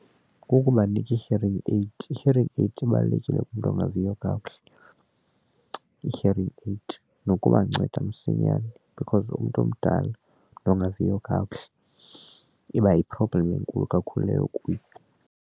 Kukubanika i-hearing aid. I-hearing aid ibalulekile umntu ongaviyo kakuhle i-hearing aid nokubanceda msinyane because umntu omdala nongaviyo kakuhle iba yi-problem enkulu kakhulu leyo kuyo.